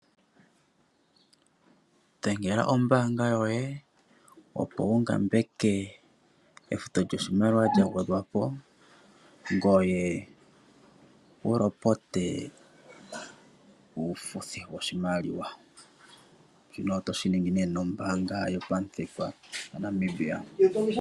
Dhengela ombaanga yoye opo wungambeke efuto lyoshimaliwa lya gwedhwa po, ngoye wulopote uulingilingi towu ningilwa ngele owuli omulongithi goombanga yopamuthika gwopombanda yaNamibia.